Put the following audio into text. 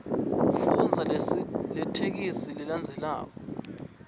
fundza letheksthi lelandzelako